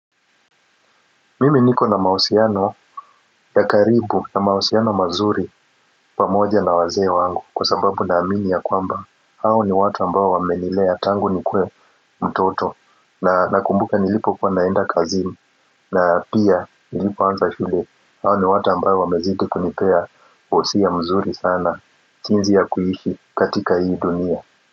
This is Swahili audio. Mimi niko na mahusiano ya karibu na mahusiano mazuri pamoja na wazee wangu kwa sababu naamini ya kwamba hao ni watu ambayo wamenilea tangu nikue mtoto na nakumbuka nilipo kuwa naenda kazini na pia nilipoanza shule hao ni watu ambao wamezidi kunipea husia mzuri sana sinzi ya kuishi katika hii dunia.